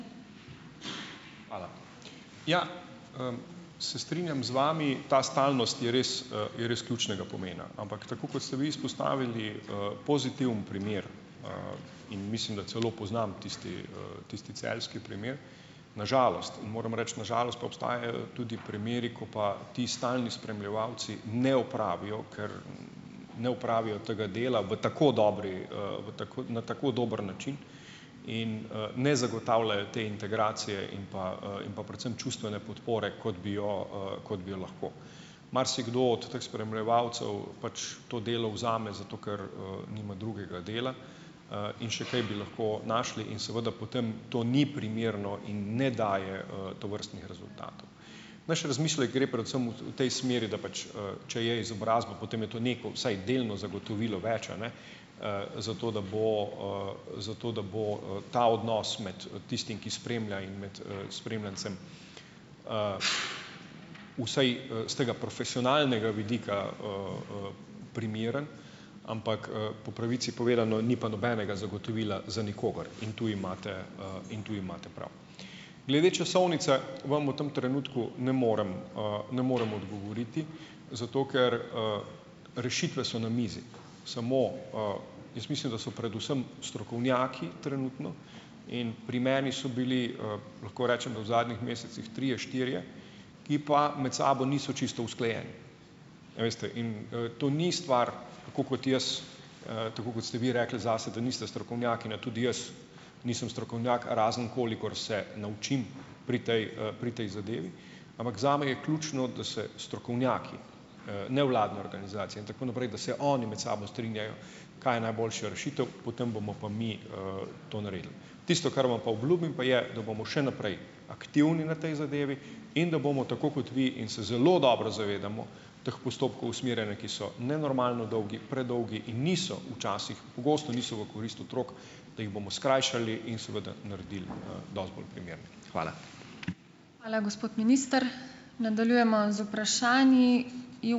Hvala. Ja, se strinjam z vami, ta stalnost je res, je res ključnega pomena. Ampak tako kot ste vi izpostavili, pozitiven primer, in mislim, da celo poznam tisti, tisti celjski primer. Na žalost, in moram reči na žalost, pa obstajajo tudi primeri, ko pa ti stalni spremljevalci ne opravijo, ker, ne opravijo tega dela v tako dobri, v tako, na tako dober način. In, ne zagotavljajo te integracije in pa, in pa predvsem čustvene podpore, kot bi jo, kot bi jo lahko. Marsikdo od teh spremljevalcev pač to delo vzame zato, ker, nima drugega dela, in še kaj bi lahko našli, in seveda potem to ni primerno in ne daje, tovrstnih rezultatov. Naš razmislek gre predvsem v tej smeri, da pač, če je izobrazba, potem je tu neko, vsaj delno zagotovilo več, a ne, zato da bo, zato da bo, ta odnos med tistim, ki spremlja, in med, spremljancem, vsaj, s tega profesionalnega vidika, primerno, ampak, po pravici povedano, ni pa nobenega zagotovila za nikogar. In tu imate, in tu imate prav. Glede časovnice vam v tem trenutku ne morem, ne morem odgovoriti , zato ker, rešitve so na mizi. Samo, jaz mislim, da so predvsem strokovnjaki trenutno in primerni so bili, lahko rečem, da v zadnjih mesecih trije, štirje, ki pa med sabo niso čisto usklajeni. A veste in, to ni stvar, tako kot jaz, tako kot ste vi rekli zase, da niste strokovnjakinja, tudi jaz nisem strokovnjak, razen kolikor se naučim pri tej, pri tej zadevi. Ampak zame je ključno, da se strokovnjaki, nevladne organizacije in tako naprej, da se oni med sabo strinjajo, kaj je najboljša rešitev, potem bomo pa mi, to naredili. Tisto, kar vam pa obljubim, pa je, da bomo še naprej aktivni na tej zadevi in da bomo tako kot vi, in se zelo dobro zavedamo teh postopkov usmerjanja, ki so nenormalno dolgi, predolgi in niso včasih, pogosto niso v korist otrok, da jih bomo skrajšali in seveda naredili, dosti bolj primerne. Hvala. Hvala, gospod minister. Nadaljujemo z vprašanji. ...